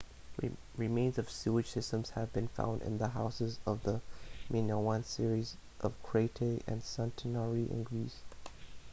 remains of sewage systems have been found in the houses of the minoan cities of crete and santorini in greece